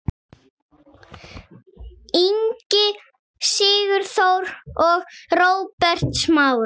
Ingi Sigþór og Róbert Smári.